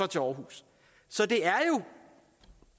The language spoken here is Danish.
til aarhus så det er